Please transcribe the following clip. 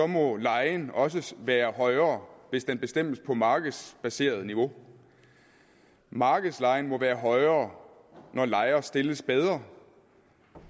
må lejen også være højere hvis den bestemmes på markedsbaseret niveau markedslejen må være højere når lejer stilles bedre